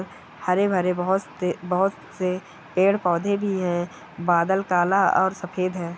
हरे-भरे बहुत से बहुत से पेड़-पौधे भी है बादल काला और सफेद है।